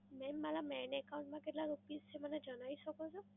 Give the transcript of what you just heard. mam મારા main account માં કેટલા રૂપીસ છે મને જણાવી શકો છો?